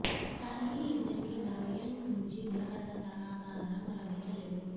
కానీ ఈ ఇద్దరికి మరో ఎండ్ నుంచి నిలకడగా సహకారం లభించలేదు